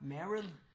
Merrel